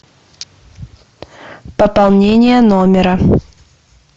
пополнение номера